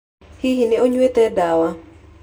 Hihi nĩ ũnyuĩte ndawa?